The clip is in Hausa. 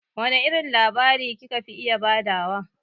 Wane irin labari ki ka fi iya ba da wa?